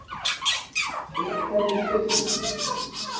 Réttlætið fjötrar hana.